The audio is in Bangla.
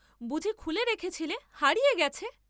বুঝি খুলে রেখেছিলে, হারিয়ে গেছে?